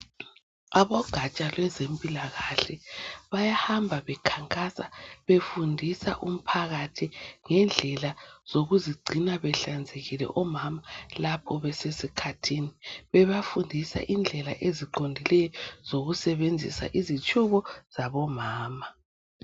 Abogaja lwezempilakahle bayahamba bekhankasa befundisa umphakathi ngendlela zokuzigcina behlanzekile omama lapho besesikhathini, bebafundisa indlela eziqondileyo zokusebenzisa izitshubo zabomama.